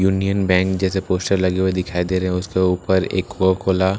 union bank जैसे poster लगे हुए दिखाई दे रहे हैं उसके ऊपर एक कोकोकोला लक्ष्मी होटल --